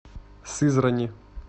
сызрани